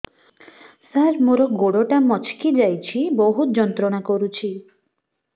ସାର ମୋର ଗୋଡ ଟା ମଛକି ଯାଇଛି ବହୁତ ଯନ୍ତ୍ରଣା କରୁଛି